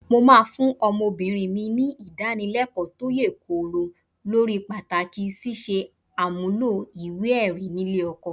Mo máa fún ọmọbìnrin mi ní ìdánilẹ́kọ̀ọ́ tó yè kooro lórí pàtàkì ṣíṣe àmúlò ìwé-ẹ̀rí nílé ọkọ.